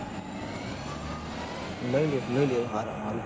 લઈ લે લઈ લે હારા મ હારું